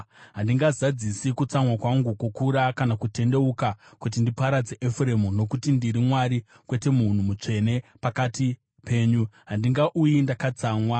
Handingazadzisi kutsamwa kwangu kukuru kana kutendeuka kuti ndiparadze Efuremu. Nokuti ndiri Mwari, kwete munhu, Mutsvene pakati penyu. Handingauyi ndakatsamwa.